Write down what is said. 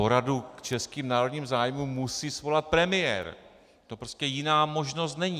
Poradu k českým národním zájmům musí svolat premiér, to prostě jiná možnost není.